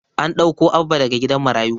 An ɗauko Abba daga gidan marayu.